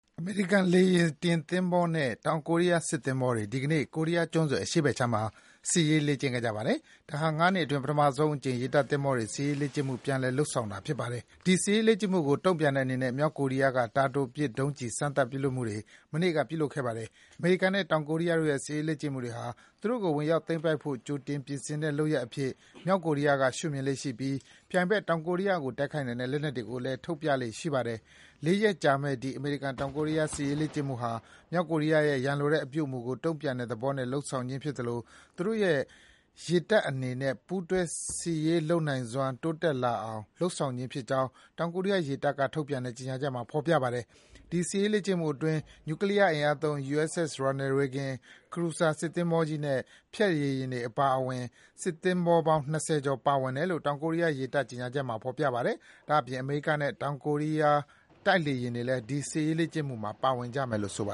အမေရိကန်လေယာဉ်တင်သင်္ဘောနဲ့ တောင်ကိုရီးယားစစ်သင်္ဘောတွေ ဒီကနေ့ ကိုရီးယားကျွန်းဆွယ်အရှေ့ဘက်ခြမ်းမှာ စစ်ရေးလေ့ကျင့်ခဲ့ကြပါတယ်။ ဒါဟာ ၅ နှစ်အတွင်း ပထမဆုံးအကြိမ် ရေတပ်သင်္ဘောတွေ စစ်ရေးလေ့ကျင့်မှု ပြန်လည် လုပ်ဆောင်တာ ဖြစ်ပါတယ်။ ဒီ စစ်ရေးလေ့ကျင့်မှုကို တုံ့ပြန်တဲ့အနေနဲ့ မြောက်ကိုရီးယားက တာတိုပစ်ဒုံးကျည် စမ်းသပ်ပစ်လွှတ်ခဲ့ပါတယ်။ အမေရိကန်နဲ့ တောင်ကိုရီးယားတို့ရဲ့ စစ်ရေးလေ့ကျင့်မှုတွေဟာ သူတို့ကို ဝင်ရောက်သိမ်းပိုက်ဖို့ ကြိုတင်ပြင်ဆင်တဲ့လုပ်ရပ်အဖြစ် မြောက်ကိုရီးယားရှုမြင်လေ့ရှိပြီး ပြိုင်ဘက် တောင်ကိုရီးယားကိုတိုက်ခိုက်နိုင်တဲ့ လက်နက်တွေကိုလည်း ထုတ်ပြလေ့ရှိပါတယ်။ လေးရက်ကြာမယ့် ဒီ အမေရိကန်-တောင်ကိုရီးယား စစ်ရေးလေ့ကျင့်မှုဟာ မြောက်ကိုရီးယားရဲ့ ရန်လိုတဲ့အပြုအမူတွေကို တုံ့ပြန်တဲ့အနေနဲ့ လုပ်ဆောင်ခြင်းဖြစ်သလို သူတို့ရဲ့ ရေတပ်အနေနဲ့ ပူးတွဲ စစ်ဆင်ရေးလုပ်နိုင်စွမ်းတွေ တိုးတက်လာစေအောင် လုပ်ဆောင်ခြင်းဖြစ်ကြောင်း တောင်ကိုရီးယား ရေတပ်က ထုတ်ပြန်တဲ့ကြေညာချက်မှာ ဖော်ပြပါတယ်။ ဒီ စစ်ရေးလေ့ကျင့်မှုအတွင်း နျူကလီးယားအင်အားသုံး USS Ronald Reagan ၊ Cruiser စစ်သင်္ဘောကြီးနဲ့ ဖျက်ရေယာဉ်တွေအပါအဝင် စစ်သင်္ဘောပေါင်း ၂၀ ကျော် ပါဝင်တယ်လို့ တောင်ကိုရီးယား ရေတပ် ကြေညာချက်မှာ ဖော်ပြထားပါတယ်။ ဒါ့အပြင် အမေရိကန်နဲ့ တောင်ကိုရီးယား တိုက်လေယာဉ်တွေလည်း ဒီ စစ်ရေးလေ့ကျင့်မှုမှာ ပါဝင်ကြမယ်လို့ ဆိုပါ